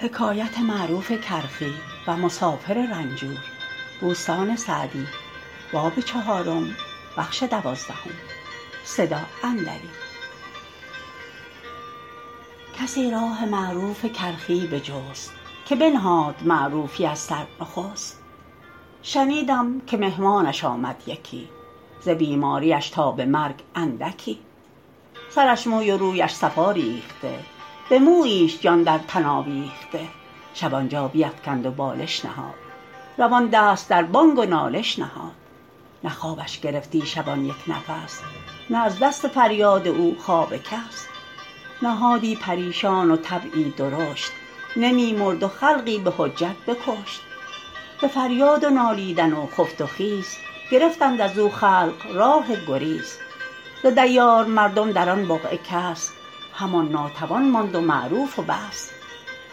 کسی راه معروف کرخی بجست که بنهاد معروفی از سر نخست شنیدم که مهمانش آمد یکی ز بیماریش تا به مرگ اندکی سرش موی و رویش صفا ریخته به موییش جان در تن آویخته شب آنجا بیفکند و بالش نهاد روان دست در بانگ و نالش نهاد نه خوابش گرفتی شبان یک نفس نه از دست فریاد او خواب کس نهادی پریشان و طبعی درشت نمی مرد و خلقی به حجت بکشت ز فریاد و نالیدن و خفت و خیز گرفتند از او خلق راه گریز ز دیار مردم در آن بقعه کس همان ناتوان ماند و معروف و بس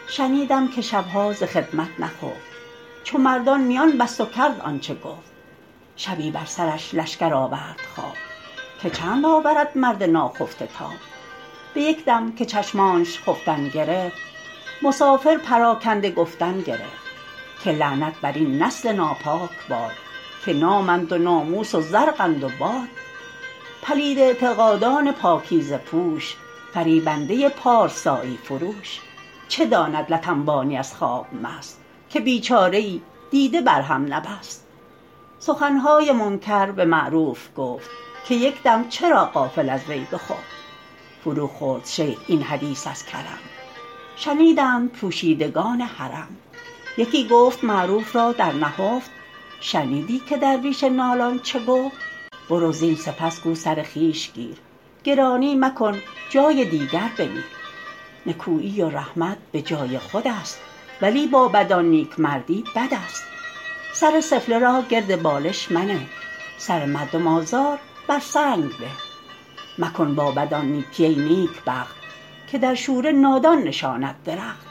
شنیدم که شبها ز خدمت نخفت چو مردان میان بست و کرد آنچه گفت شبی بر سرش لشکر آورد خواب که چند آورد مرد ناخفته تاب به یک دم که چشمانش خفتن گرفت مسافر پراکنده گفتن گرفت که لعنت بر این نسل ناپاک باد که نامند و ناموس و زرقند و باد پلید اعتقادان پاکیزه پوش فریبنده پارسایی فروش چه داند لت انبانی از خواب مست که بیچاره ای دیده بر هم نبست سخنهای منکر به معروف گفت که یک دم چرا غافل از وی بخفت فرو خورد شیخ این حدیث از کرم شنیدند پوشیدگان حرم یکی گفت معروف را در نهفت شنیدی که درویش نالان چه گفت برو زین سپس گو سر خویش گیر گرانی مکن جای دیگر بمیر نکویی و رحمت به جای خود است ولی با بدان نیکمردی بد است سر سفله را گرد بالش منه سر مردم آزار بر سنگ به مکن با بدان نیکی ای نیکبخت که در شوره نادان نشاند درخت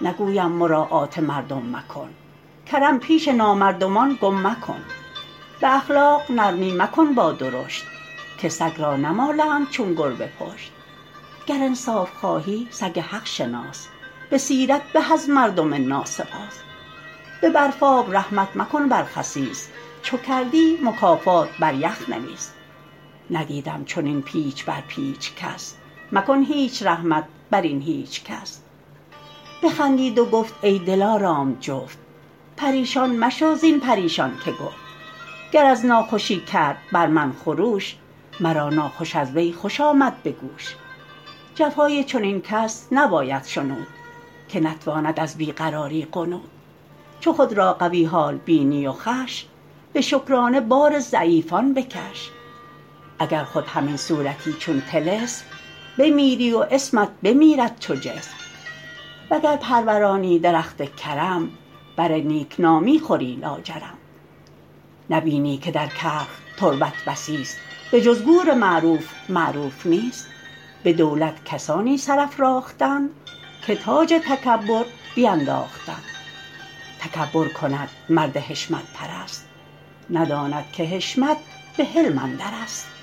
نگویم مراعات مردم مکن کرم پیش نامردمان گم مکن به اخلاق نرمی مکن با درشت که سگ را نمالند چون گربه پشت گر انصاف خواهی سگ حق شناس به سیرت به از مردم ناسپاس به برفاب رحمت مکن بر خسیس چو کردی مکافات بر یخ نویس ندیدم چنین پیچ بر پیچ کس مکن هیچ رحمت بر این هیچ کس بخندید و گفت ای دلارام جفت پریشان مشو زین پریشان که گفت گر از ناخوشی کرد بر من خروش مرا ناخوش از وی خوش آمد به گوش جفای چنین کس نباید شنود که نتواند از بی قراری غنود چو خود را قوی حال بینی و خوش به شکرانه بار ضعیفان بکش اگر خود همین صورتی چون طلسم بمیری و اسمت بمیرد چو جسم وگر پرورانی درخت کرم بر نیکنامی خوری لاجرم نبینی که در کرخ تربت بسی است به جز گور معروف معروف نیست به دولت کسانی سر افراختند که تاج تکبر بینداختند تکبر کند مرد حشمت پرست نداند که حشمت به حلم اندر است